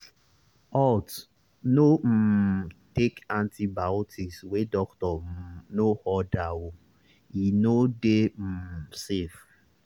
haltno um take antibiotics wey doctor um no order oe no dey um safe